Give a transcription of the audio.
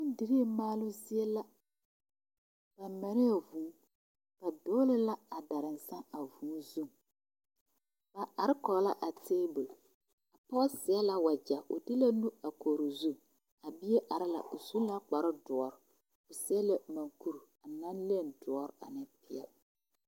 Bondirii maaloo zie la ba marɛɛ vūū ba dogle la a daransaŋ a vūū zu ba are kɔge la a tabol a pɔge seɛ la wagyɛ o de la nu a kori o zu a bie are la o su la kparoo doɔre o seɛ la monkuri naŋ leni doɔre ane peɛle.